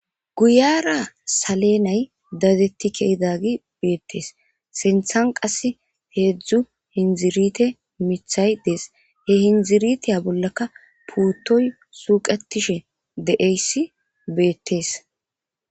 guyara saleenay dadetti keedagi beettees senthan qass heedzdzu hindzirite mithay dees he hindziritiya bollaka puuttoy suuqatishe de7eyssi beettees